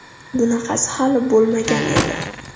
Bunaqasi hali bo‘lmagan edi!